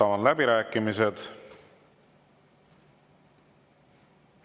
Avan läbirääkimised.